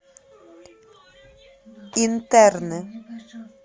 интерны